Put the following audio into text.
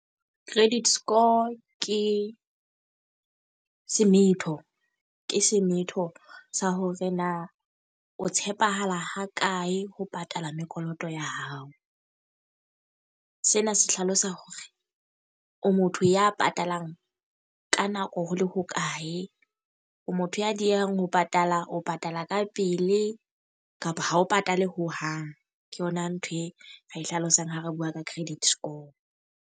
Credit score ke semetho, ke semetho sa hore na o tshepahala ha kae ho patala mekoloto ya hao. Sena se hlalosa hore o motho ya patalang ka nako ho le hokae, o motho ya diyehang jo patala, o patala ka pele kapa ha o patale ho hang. Ke yona ntho e re e hlalosang ha re bua ka credit score.